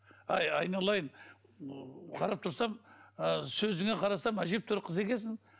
әй айналайын қарап тұрсам ы сөзіңе қарасам әжептәуір қыз екенсің